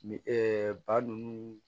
Ni ba ninnu